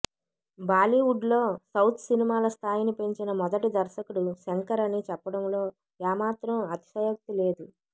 బాలీవుడ్లో సౌత్ సినిమాల స్థాయిని పెంచిన మొదటి దర్శకుడు శంకర్ అని చెప్పడంలో ఏమాత్రం అతిశయోక్తి లేదు